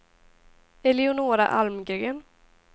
Eleonora Almgren